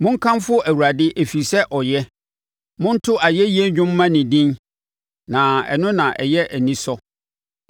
Monkamfo Awurade ɛfiri sɛ ɔyɛ; monto ayɛyie dwom mma ne din, na ɛno na ɛyɛ anisɔ.